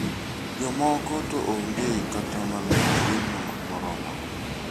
Jomoko to onge kata mana chiemo moromogi.